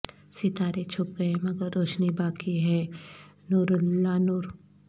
ستارے چھپ گئے مگر روشنی باقی ہے نوراللہ نور